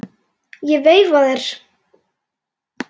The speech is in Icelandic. Ég veifa þér.